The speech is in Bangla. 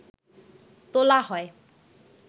তোলা হয়